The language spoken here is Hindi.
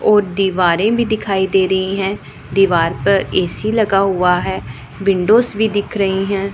और दीवारें भी दिखाई दे रही है दीवार पर ए_सी लगा हुआ है विंडोज भी दिख रही हैं।